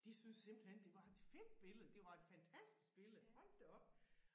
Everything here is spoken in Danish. De syntes simpelthen det var et fedt billede det var et fantastisk billede hold da op